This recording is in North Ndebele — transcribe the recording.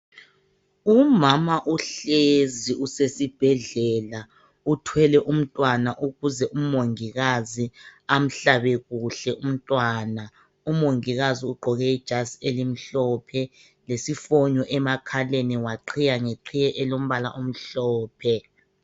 Umama uhlezi usesibhedlela uthwele umntwana ukuze umongikazi amhlabe kuhle umntwana. Umongikazi ugqoke ijazi elimhlophe lesifonyo emakhaleni waqhiya ngeqhiye emhlophe.